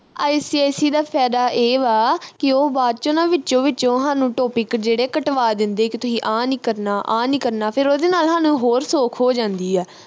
ICSE ਦਾ ਫਾਇਦਾ ਇਹ ਵਾ ਕਿ ਉਹ ਬਾਅਦ ਵਿਚ ਨਾ ਵਿਚੋ ਵਿਚੋਂ ਹਾਨੂੰ topic ਜਿਹੜੇ ਕਟਵਾ ਦਿੰਦੇ ਕਿ ਤੁਹੀ ਆ ਨੀ ਕਰਨਾ ਆ ਨੀ ਕਰਨਾ ਫਿਰ ਉਹਦੇ ਨਾਲ ਹਾਨੂੰ ਹੋਰ ਸੌਖ ਹੋ ਜਾਂਦੀ ਆ